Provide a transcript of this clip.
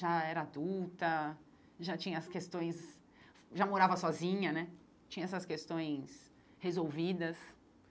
Já era adulta, já tinha as questões... Já morava sozinha né, tinha essas questões resolvidas.